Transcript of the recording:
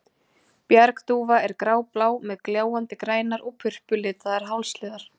Bjargdúfa er gráblá, með gljáandi grænar og purpuralitar hálshliðar.